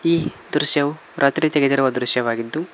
ಈ ದೃಶ್ಯವೂ ರಾತ್ರಿ ತೆಗೆದಿರುವ ದೃಶ್ಯವಾಗಿದ್ದು.